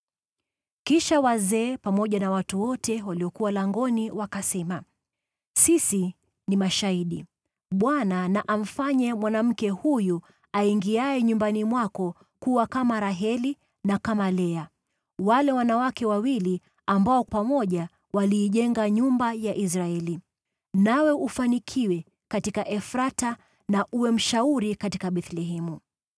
Kisha wazee pamoja na watu wote waliokuwa langoni wakasema, “Sisi ni mashahidi. Bwana na amfanye mwanamke huyu aingiaye nyumbani mwako kuwa kama Raheli na kama Lea, wale wanawake wawili ambao pamoja waliijenga nyumba ya Israeli. Nawe ufanikiwe katika Efrathi na uwe mashuhuri katika Bethlehemu.